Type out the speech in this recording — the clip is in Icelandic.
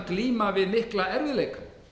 glíma við mikla erfiðleika